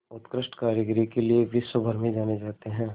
उत्कृष्ट कारीगरी के लिये विश्वभर में जाने जाते हैं